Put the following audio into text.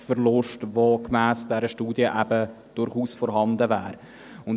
Auch wäre gemäss der Studie durchaus ein Kulturlandverlust vorhanden.